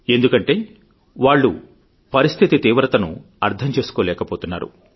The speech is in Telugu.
ఎందుకంటే వాళ్లు పరిస్థితి తీవ్రతను అర్థం చేసుకోలేకపోతున్నారు